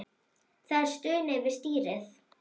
Það er stunið við stýrið.